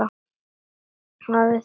Hafið þið pælt í því?